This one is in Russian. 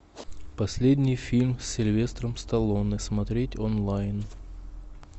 последний фильм с сильвестром сталлоне смотреть онлайн